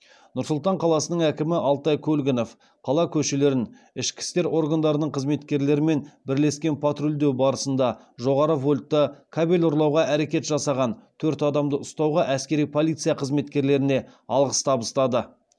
нұр сұлтан қаласының әкімі алтай көлгінов қала көшелерін ішкі істер органдарының қызметкерлерімен бірлескен патрульдеу барысында жоғары вольтты кабель ұрлауға әрекет жасаған төрт адамды ұстауға әскери полиция қызметкерлеріне алғыс хат табыстады